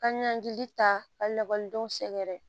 Ka ɲɔngiri ta ka lakɔlidenw sɛgɛrɛ